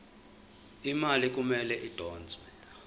imali kumele idonswe